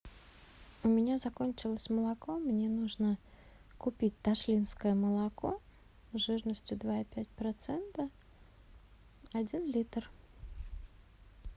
у меня закончилось молоко мне нужно купить ташлинское молоко жирностью два и пять процента один литр